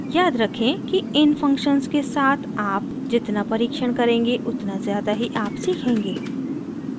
याद रखें कि इन functions के साथ आप जितना परिक्षण करेंगे उतना ज़्यादा ही आप सीखेंगे